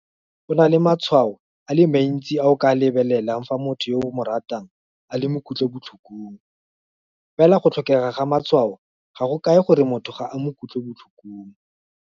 Go na le matshwao a le mantsi a o ka a lebelelang fa motho yo o mo ratang a le mo kutlobotlhokong, fela go tlhokega ga matshwao ga go kae gore motho ga a mo kutlobotlhokong.